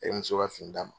E muso ka fini d'a ma